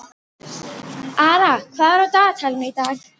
Ara, hvað er á dagatalinu í dag?